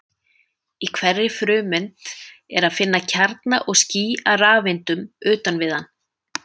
Í hverri frumeind er að finna kjarna og ský af rafeindum utan við hann.